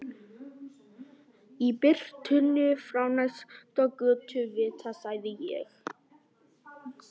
Í birtunni frá næsta götuvita sagði ég